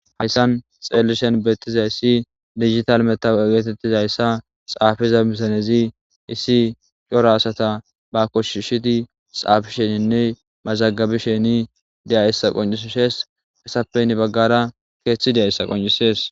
hayssan xeelishen beettiza issi digital metawu egeetettizayssa xaafiza misanezi issi coro asata ba koshshishidi xaafisheninne mazagabisheni deya issa qoncisshees esappeynne baggara keeththideayssa qoncisees